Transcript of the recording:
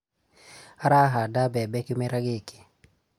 Arahanda mbebe kĩmera gĩkĩ